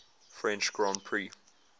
french grand prix